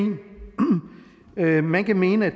man kan mene at